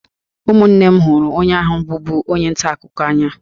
Ụmụnne m hụrụ onye ahụ bụbu onye nta akụkọ n'anya